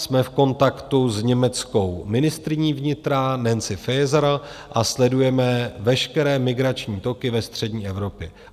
Jsme v kontaktu s německou ministryní vnitra Nancy Faeser a sledujeme veškeré migrační toky ve střední Evropě.